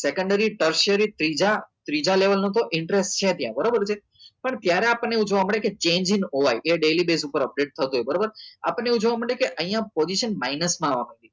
secondary ત્રીજા ત્રીજા level નું તો interest છે ત્યાં બરોબર એ રીતે પણ ત્યારે આપણને એવું જોવા મળે કે change in owain એ daily base ઉપર update થતો હોય બરાબર આપણને એવું જોવા મળે કે અહિયાં position minus માં આવવા